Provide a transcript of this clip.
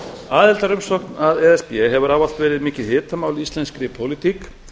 aðildarumsókn að e s b hefur ávallt verið mikið hitamál í íslenskri pólitík